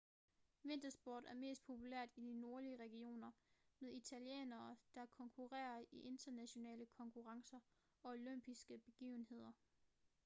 vintersport er mest populært i de nordlige regioner med italienere der konkurrerer i internationale konkurrencer og olympiske begivenheder